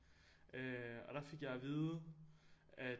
Øh og der fik jeg at vide at